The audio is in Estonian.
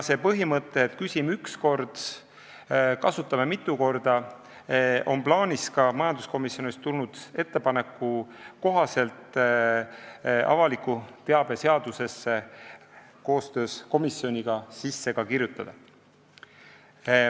See põhimõte, et "küsime üks kord, kasutame mitu korda", on majanduskomisjonist tulnud ettepaneku kohaselt plaanis avaliku teabe seadusesse koostöös komisjoniga ka sisse kirjutada.